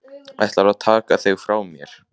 Ætlarðu að taka þig frá mér?